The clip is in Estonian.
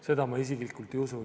Seda ma isiklikult ei usu.